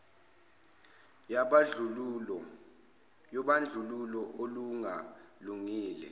yobandlululo olunga lungile